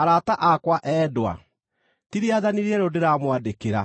Arata akwa endwa, ti rĩathani rĩerũ ndĩramwandĩkĩra,